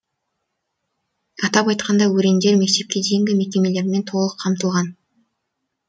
атап айтқанда өрендер мектепке дейінгі мекемелермен толық қамтылған